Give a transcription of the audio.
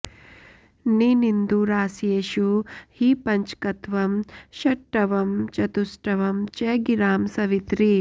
निनिन्दुरास्येषु हि पञ्चकत्वं षट्ट्वं चतुष्ट्वं च गिरां सवित्रि